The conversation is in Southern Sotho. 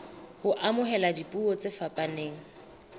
ho amohela dipuo tse fapaneng